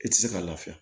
I tɛ se ka lafiya